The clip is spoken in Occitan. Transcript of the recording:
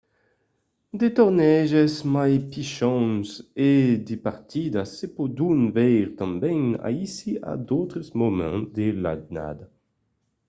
de torneges mai pichons e de partidas se pòdon veire tanben aicí a d'autres moments de l'annada